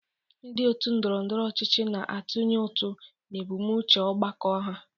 Ndị otu ndọrọ ndọrọ ọchịchị na-atụnye ụtụ na ebumnuche ọgbakọ ha.